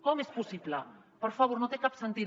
com és possible per favor no té cap sentit